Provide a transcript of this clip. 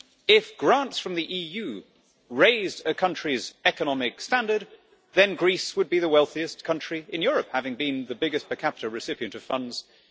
If grants from the EU raised a country's economic standard, then Greece would be the wealthiest country in Europe, having been the biggest per capita recipient of funds since